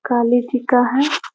काली जी का है।